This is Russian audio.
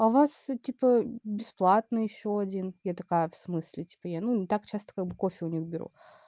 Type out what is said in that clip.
а у вас типа бесплатный ещё один я такая в смысле типа я ну не так часто кофе у них беру